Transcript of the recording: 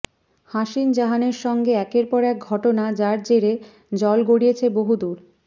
হাসিন জাহানের সঙ্গে একের পর এক ঘটনা যার জেরে জল গড়িয়েছে বহুদূর